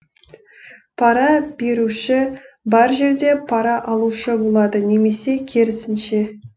пара беруші бар жерде пара алушы болады немесе керісінше